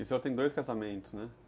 E o senhor tem dois casamentos, né?